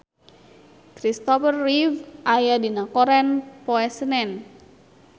Christopher Reeve aya dina koran poe Senen